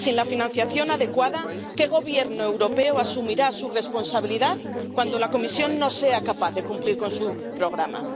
Sin la financiación adecuada, ¿qué Gobierno europeo asumirá su responsabilidad cuando la Comisión no sea capaz de cumplir con su programa?